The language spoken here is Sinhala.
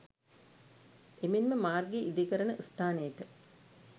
එමෙන්ම මාර්ගය ඉදිකරන ස්ථානයට